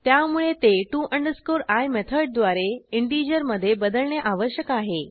त्यामुळे ते to i मेथडद्वारे इंटीजरमधे बदलणे आवश्यक आहे